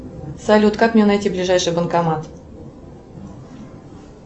салют как мне найти ближайший банкомат